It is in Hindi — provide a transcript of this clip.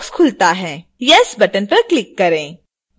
yes बटन पर क्लिक करें